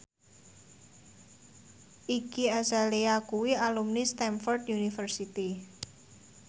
Iggy Azalea kuwi alumni Stamford University